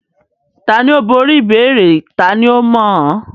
Tani ó borí ìbéèrè tani ó mọ̀ án?